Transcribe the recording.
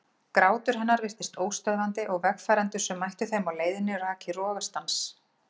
Grátur hennar virtist óstöðvandi og vegfarendur sem mættu þeim á leiðinni rak í rogastans.